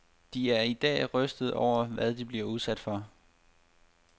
De er i dag rystede over, hvad de blev udsat for.